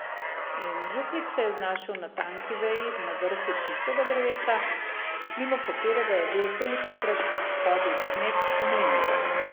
In župnik se je znašel na tanki veji na vrhu tistega drevesa, mimo katerega je bil tolikokrat hodil kmet v mlin.